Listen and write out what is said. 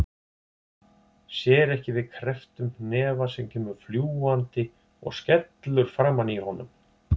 Sér ekki við krepptum hnefa sem kemur fljúgandi og skellur framan í honum.